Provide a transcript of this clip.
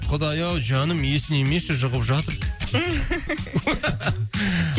құдай ау жаным есінемеші жұғып жатыр